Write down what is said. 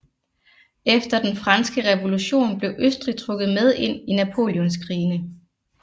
Efter den franske revolution blev Østrig trukket med ind i napoleonskrigene